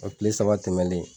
O kile saba tɛmɛlen.